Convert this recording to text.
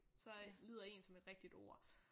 Så lyder én som et rigtigt ord